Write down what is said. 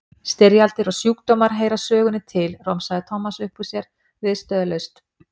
Styrjaldir og sjúkdómar heyra sögunni til, romsaði Thomas upp úr sér viðstöðulaust.